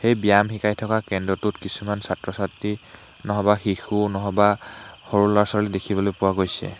ব্যায়াম শিকাই থকা কেন্দ্ৰটো কিছুমান ছাত্ৰ ছাত্ৰী নহবা শিশু নহবা সৰু ল'ৰা ছোৱালী দেখিবলৈ পোৱা গৈছে।